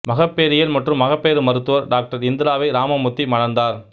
மகப்பேறியல் மற்றும் மகப்பேறு மருத்துவர் டாக்டர் இந்திராவை ராமமூர்த்தி மணந்தார்